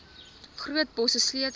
groot bosse sleutels